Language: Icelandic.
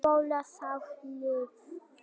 Bólstaðarhlíð